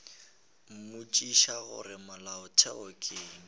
mmotšiša gore molato ke eng